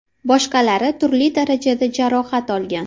Boshqalari turli darajada jarohat olgan.